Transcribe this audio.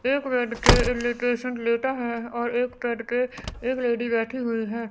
एक बेड पे लेटा है और एक बेड पे एक लेडी बैठी हुई है।